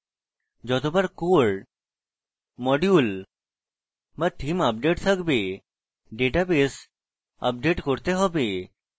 যতবার core module be theme update থাকবে database update করতে হবে